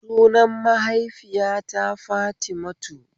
sunan mahaifiyata Fatimatu